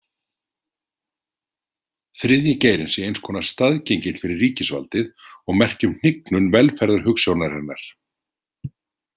Þriðji geirinn sé eins konar staðgengill fyrir ríkisvaldið og merki um hnignun velferðarhugsjónarinnar.